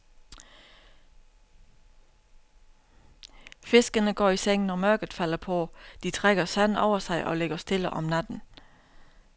Fiskene går i seng, når mørket falder på, de trækker sand over sig og ligger stille om natten.